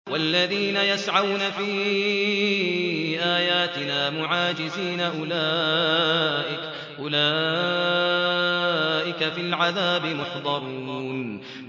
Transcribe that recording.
وَالَّذِينَ يَسْعَوْنَ فِي آيَاتِنَا مُعَاجِزِينَ أُولَٰئِكَ فِي الْعَذَابِ مُحْضَرُونَ